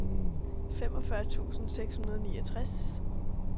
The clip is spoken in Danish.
femogfyrre tusind seks hundrede og niogtres